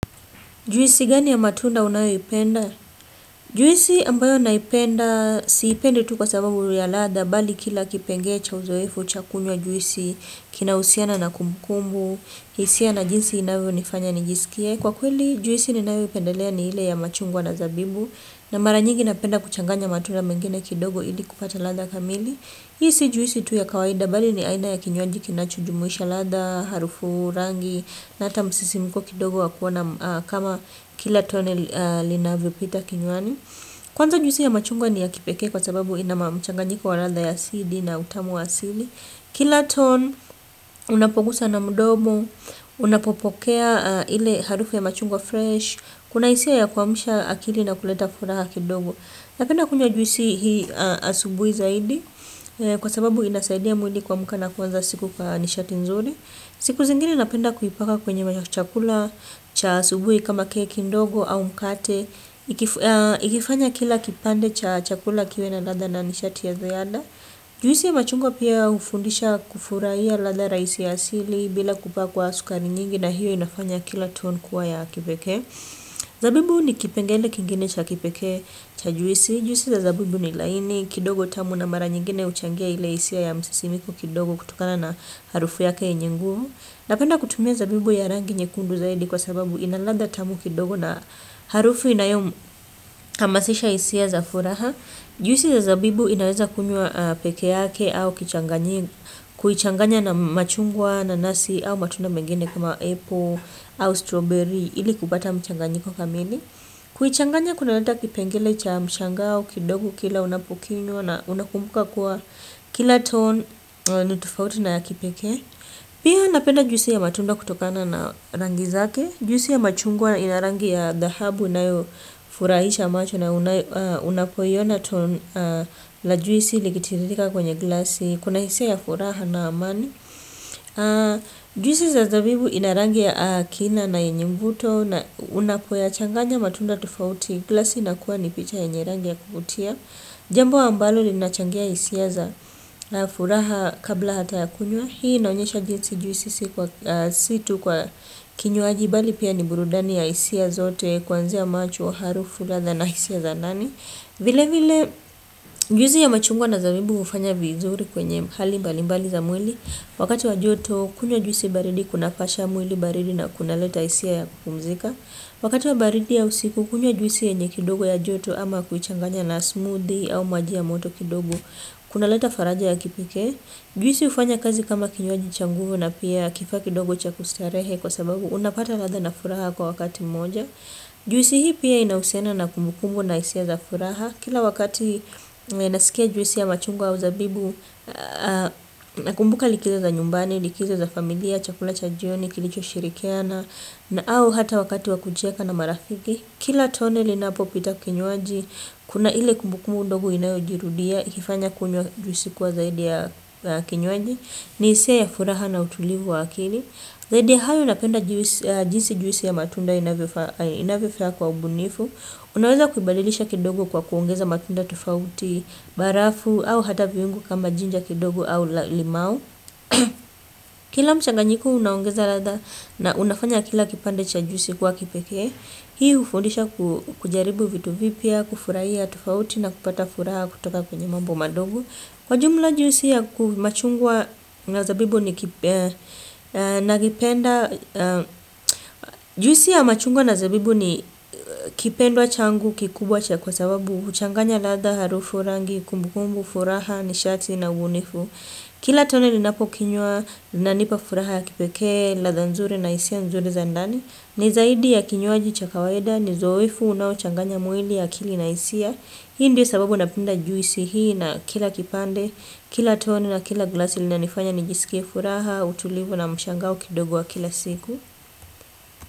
Juisi gani ya matunda unayoipenda? Juisi ambayo naipenda, siipendi tu kwa sababu ya ladha, bali kila kipengee cha uzoefu, cha kunywa juisi, kinahusiana na kumbukumbu, hisia na jinsi inavyonifanya nijisikie. Kwa kweli, juisi ninayoipendelea ni ile ya machungwa na zabibu, na mara nyingi napenda kuchanganya matunda mengine kidogo ili kupata ladha kamili. Hii si juisi tu ya kawaida bali ni aina ya kinywaji kinachojumuisha ladha, harufu rangi. Na hata msisimuko kidogo wa kuwa na kama kila tone linavyopita kinywani. Kwanza juisi ya machungwa ni ya kipekee kwa sababu inama mchanganyiko wa ladha ya sidi na utamu asili. Kila ton, unapogusa na mdomo unapopokea ile harufu ya machungwa fresh kuna hisia ya kuamsha akili na kuleta furaha kidogo napenda kunywa juisi hii asubuhi kwa sababu inasaidia mwili kuamka na kuanza kwa nishati nzuri. Siku zingine napenda kuipaka kwenye chakula cha asubuhi kama keki ndogo au mkate. Ikifanya kila kipande cha chakula kiwe na ladha na nishati ya ziada. Juisi ya machungwa pia hufundisha kufurahia ladha rahisi ya asili bila kupakwa sukari nyingi na hiyo inafanya kila tone kuwa ya kipekee. Zabibu ni kipengele kingine cha kipeke cha juisi. Juisi za zabibu ni laini kidogo tamu na mara nyingine huchangia ile hisia ya msisimko kidogo kutokana na harufu yake yenye nguvu. Napenda kutumia zabibu ya rangi nyekundu zaidi kwa sababu ina kadha tamu kidogo na harufu inayohamasisha hisia za furaha. Juisi za zabibu inaweza kunywa pekee yake au kuichanganya na machungwa nanasi au matunda mengine kama apple au strawberry ili kupata mchanganyiko kamili. Kuichanganya kunaleta kipengele cha mshangao kidogo kila unapokinywa na unakumbuka kuwa kila tone ni tofauti na ya kipekee. Pia napenda juisi ya matunda kutokana na rangi zake. Juisi ya machungwa ina rangi ya dhahabu. Inayofurahisha macho na unapoiona la juisi likitiririka kwenye glasi. Kuna hisia ya furaha na amani. Juisi za zabibu ina rangi ya kina na yenye mvuto. Na unapoyachanganya matunda tofauti glasi inakuwa ni picha yenye rangi ya kukutia. Jambo ambalo linachangia hisia za na furaha kabla hata ya kunywa hii naunyesha jizi juisi sikuwa si tu kwa kinywaji bali pia ni burudani ya hisia zote kwanzia macho harufu ladha na hisia za nani vile vile juisi ya machungwa na zabibu hufanya vizuri kwenye hali mbalimbali za mwili wakati wa joto kukunywa juisi baridi kunapasha mwili baridi na kunaleta hisia ya kupumzika wakati wa baridi au siku kunywa juisi yenye kidogo yenye joto au kuchanganya na smoothie au maji ya moto kidogo. Kuna leta faraja ya kipekee. Juisi hufanya kazi kama kinywaji cha nguvu na pia kifaa kidogo cha kustarehe kwa sababu unapata ladha na furaha kwa wakati mmoja. Juisi hii pia inahusiana na kumbukumbu na hisia za furaha. Kila wakati ninasikia juisi ya machungwa au zabibu na kumbuka likizo za nyumbani, likizo za familia, chakula cha jioni, kilichoshirikiana. Na au hata wakati wa kucheka na marafiki. Kila tone linapopita kinywaji, kuna ile kumbukumbu ndogo inayojirudia, ikifanya kunywa juisi kuwa zaidi ya kinywaji. Ni hisia ya furaha na utulivu wa akili zaidi ya hayo napenda jinsi juisi ya matunda inavyofanya kwa ubunifu. Unaweza kubadilisha kidogo kwa kuongeza matunda tofauti, barafu au hata viungo kama jinja kidogo au limau. Kila mchanganyiko unaongeza ladha na unafanya kila kipande cha juisi kuwa kipeke. Hii hufundisha kujaribu vitu vipia, kufurahia, tofauti na kupata furaha kutoka kwenye mambo madogo. Kwa jumla juisi ya machungwa na zabibu ni kipenda, juhusia machungwa na zabibu ni kipendwa changu, kikubwa cha kwa sababu, huchanganya ladha, harufu rangi, kumbukumbu, furaha, nishati na ubunifu. Kila tone ninapo kinywa inanipa furaha ya kipekee, ladha nzuri na hisia nzuri za ndani. Ni zaidi ya kinywaji cha kawaida ni zoefu unaochanganya mwili ya akili na hisia hii ndio sababu napenda juisi hii na kila kipande kila toni na kila glasi linanifanya nijisikie furaha utulivu na mshangao kidogo wa kila siku.